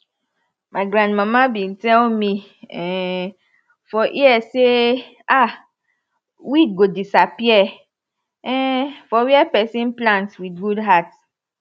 my grandmama be tell me um for ear say um weed go disappear um for where person plant wit good heart